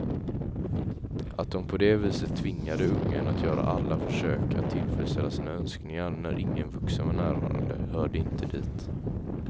Att dom på det viset tvingade ungen att göra alla försök att tillfredsställa sina önskningar när ingen vuxen var närvarande, hörde inte dit.